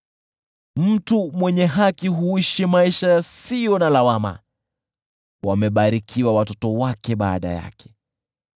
Mtu mwenye haki huishi maisha yasiyo na lawama, wamebarikiwa watoto wake baada yake.